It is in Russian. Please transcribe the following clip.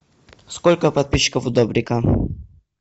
сколько подписчиков у добряка